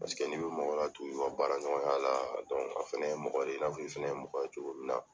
Paseke n'i bɛ mɔgɔ latugu i kɔ baara ɲɔgɔnya la a fana ye mɔgɔ de ye i n'a fɔ i fana ye mɔgɔ ye cogo min na.